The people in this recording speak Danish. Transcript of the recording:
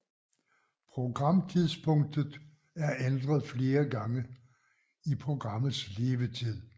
Programtidspunktet er ændret flere gange i programmets levetid